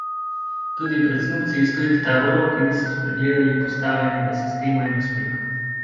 Tudi pred snubci iz tujih taborov, ki niso spregledali postavljenega sistema in uspehov.